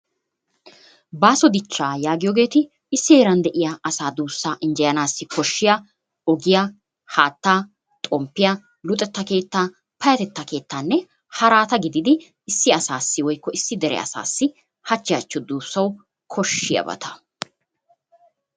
Baasso dichcha yaagiyogetti issi heeran de'yaa asa duussa injeyanassi koshshiyaa ogiyaa, haattaa, xompiyaa luxetta keetta, payatteta keettaanne haratta gididdi issi asassi woykko issi dere asassi hachchi hachchi duussawu koshshiyaabatta.